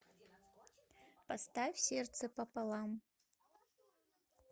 поставь сердце пополам